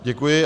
Děkuji.